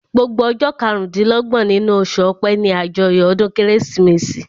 Gbogbo ọjọ́ karùn-dín-lọ́gbọ̀n nínú oṣù ọpẹ́ ní àjọyọ̀ ọdún kérésìmesì